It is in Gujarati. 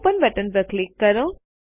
ઓપન બટન પર ક્લિક કરો